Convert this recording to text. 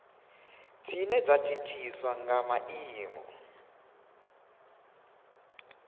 dzine dza thithiswa nga maimo